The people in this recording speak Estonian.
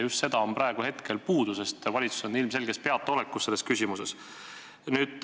Just sellest on praegu puudu, sest valitsus on selles küsimuses ilmselges peataolekus.